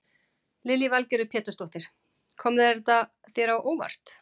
Lillý Valgerður Pétursdóttir: Kom þetta þér á óvart?